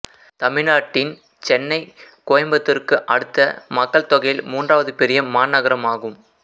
தமிழ்நாட்டின் சென்னை கோயம்புத்தூர்க்கு அடுத்த மக்கள் தொகையில் மூன்றாவது பெரிய மாநகரம் ஆகும்